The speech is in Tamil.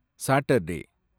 சாட்டர்டே